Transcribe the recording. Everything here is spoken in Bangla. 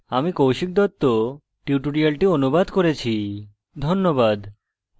আমি কৌশিক দত্ত tutorial অনুবাদ করেছি ধন্যবাদ